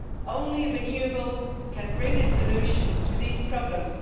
Only renewables can bring a solution to these problems.